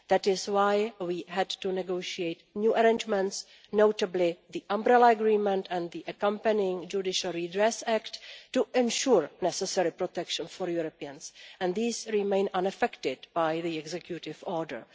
That is why we had to negotiate new arrangements, notably the umbrella agreement and the accompanying Judicial Redress Act, to ensure the necessary protection for Europeans and these remain unaffected by the executive